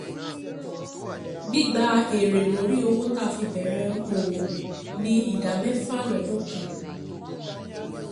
Gbígba èrè lóri owó ta fi bẹ̀rẹ̀ òwò ní ìdá mẹ́fà lọ́dún kan.